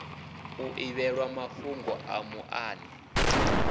u ḓivhelwa mafhugo a muṱani